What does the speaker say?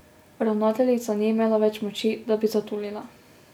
Ravnateljica ni imela več moči, da bi zatulila.